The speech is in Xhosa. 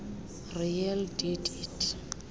really did it